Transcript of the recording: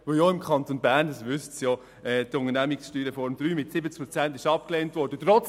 Auch im Kanton Bern wurde die Unternehmenssteuerreform (USR) III mit 70 Prozent der Stimmen abgelehnt, wie Sie wissen.